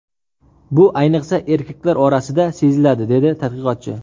Bu ayniqsa, erkaklar orasida seziladi”, dedi tadqiqotchi.